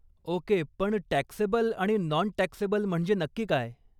Okay, पण taxable आणि non taxable म्हणजे नक्की काय?